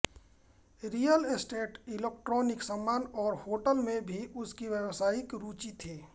real estate electronic सामान और होटलों में भी उसकी व्यावसायिक रुचि थी